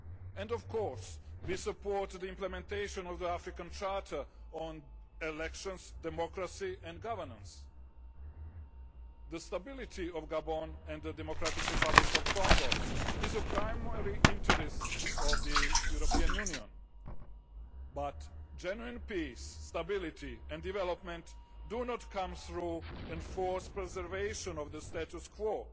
And, of course, we support the implementation of the African Charter on elections, democracy and governance. The stability of Gabon and the Democratic Republic of Congo is of primary interest to the European Union, but genuine peace, stability and development do not come through enforced preservation of the status quo